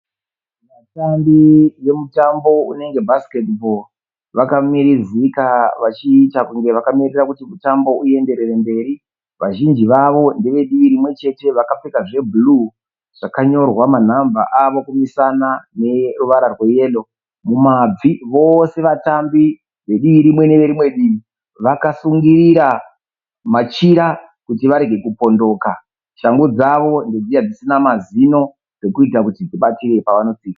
Vatambi vemutambo unenge webhesiketibho vakamirizika vachiita sekuti vakamirira kuti mutambo uendere mberi. Vazhinji vacho vanoratidza kuti ndevedivi rimwechete. Shangu dzavo ndedziya dzisina mazino dzekuitira kuti dzibatirire pavanotsika.